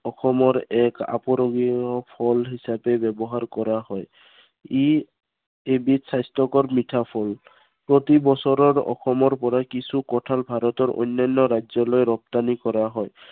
অসমৰ আপুৰূগীয়া ফল হিচাপে ব্য়ৱহাৰ কৰা হয়। ই এবিধ স্বাস্থ্য়কৰ মিঠা ফল। প্ৰতিবছৰে অসমৰ পৰা কিছু কঁঠাল ভাৰতৰ অন্য়ান্য় ৰাজ্য়লৈ ৰপ্তানী কৰা হয়।